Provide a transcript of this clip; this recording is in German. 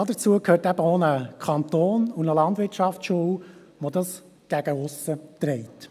Dazu gehören eben auch ein Kanton und eine Landwirtschaftsschule, welche das gegen aussen tragen.